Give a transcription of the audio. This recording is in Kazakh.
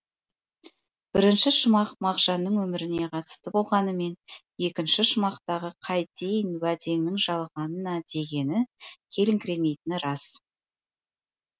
бірінші шумақ мағжанның өміріне қатысты болғанымен екінші шумақтағы қайтейін уәдеңнің жалғанына дегені келіңкіремейтіні рас